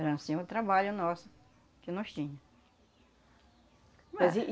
Era assim o trabalho nosso, que nós tínhamos. Mas e